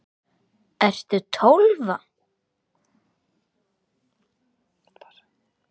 Ertu Tólfa?